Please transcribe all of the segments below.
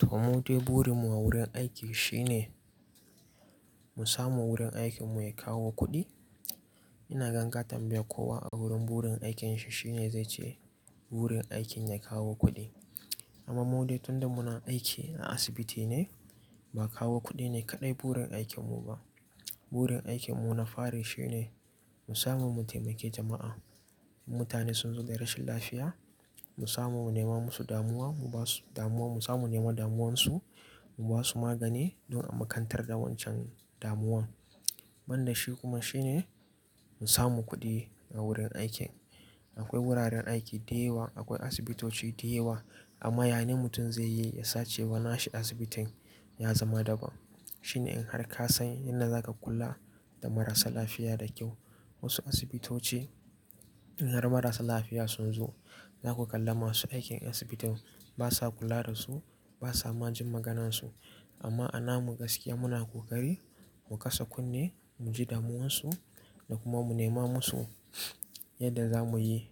To, mudai burin mu a wurin aiki shine mu samu wurin aikin mu ya kawo kuɗi. Ina gan inƙata tambaya kowa a wurin burin aikin shi shine zai ce burin aikin ya kawo kuɗi. Amma mudai tun da muna aiki a asibiti ne, ba kawo kuɗi ne kaɗai burin aikin mu ba. Burin aikin mu na fari shine mu samu mu taimaki jama'a. Mutane sun zo da rashin lafiya, mu samu mu nema musu damuwa, mu basu damuwa, mu samu nema damuwarsu, mu basu magani don a makantar da wancan damuwan. Banda dashi kuma shine mu samu kuɗi a wurin aikin. Akwai wuraren aiki da yawa, akwai asibitoci da yawa, amma yane mutum zai yi ya sace ba na shi asibitin ya zama daban. Shine in har ka san yadda za ka kula da marasa lafiya da kyau. Wasu asibitoci in har marasa lafiya sun zo, za ku kalla masu aikin asibitin ba sa kula da su, ba sa ma jin maganarsu. Amma a nan mu gaskiya muna ƙoƙari mu kasa kunne, mu ji damuwarsu da kuma mu nema musu yadda za mu yi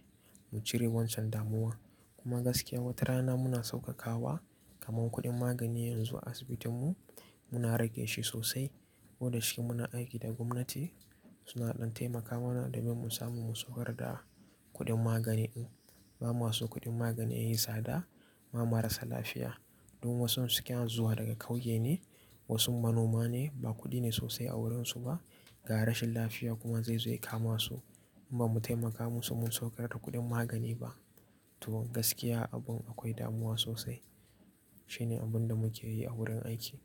mu cire wancan damuwa. Kuma gaskiya wata rana muna sauƙaƙawa kaman kuɗin magani yanzu a asibitin mu, muna rage shi sosai. Ko da shi muna aiki da gwamnati suna ɗan taimaka mana domin mu samu mu saukar da kuɗin magani in ba mu aso kuɗin magani ya yi tsada ma marasa lafiya. Don wasu suke zuwa daga ƙauye ne, wasu manoma ne, ba kuɗi ne sosai a wurinsu ba. Ga rashin lafiya kuma zai zo ya kama su in ba mu taimaka musu mu saukar da kuɗin magani ba. To gaskiya abin akwai damuwa sosai. Shine abin da muke yi a wurin aiki.